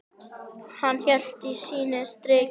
Hann hélt sínu striki.